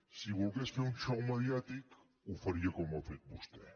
si volgués fer un xou mediàtic ho faria com ho ha fet vostè